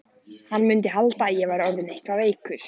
Hann mundi halda að ég væri orðinn eitthvað veikur.